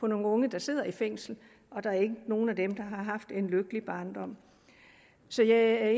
nogle unge der sidder i fængsel og der er ikke nogen af dem der har haft en lykkelig barndom så jeg er